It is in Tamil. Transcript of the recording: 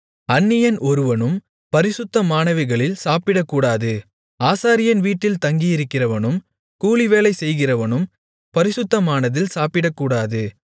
அந்நியன் ஒருவனும் பரிசுத்தமானவைகளில் சாப்பிடக்கூடாது ஆசாரியன் வீட்டில் தங்கியிருக்கிறவனும் கூலிவேலை செய்கிறவனும் பரிசுத்தமானதில் சாப்பிடக்கூடாது